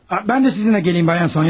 Mən də sizinlə gəlim, xanım Sonya?